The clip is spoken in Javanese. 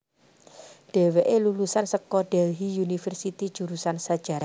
Dheweké lulusan saka Delhy University jurusan sajarah